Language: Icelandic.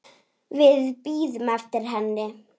Við bíðum eftir henni